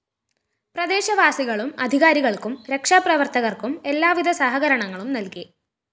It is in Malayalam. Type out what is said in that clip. പ്രദേശവാസികളും അധികാരികള്‍ക്കും രക്ഷാപ്രവര്‍ത്തകര്‍ക്കും എല്ലാവിധ സഹകരണങ്ങളും നല്‍കി